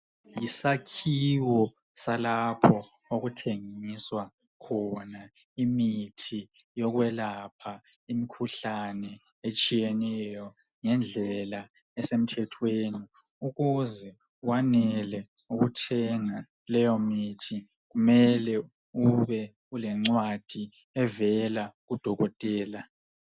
Yisakhiwo salapho okuthengiswa khona imithi yokwelapha imkhuhlane etshiyeneyo ngendlela esemthethweni ukuze wanele ukuthenga leyo mithi kumele ube ulencwadi evela kudokotela.